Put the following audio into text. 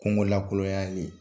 Kungo lakɔyalen.